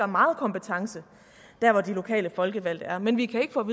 meget kompetence der hvor de lokale folkevalgte er men vi kan ikke få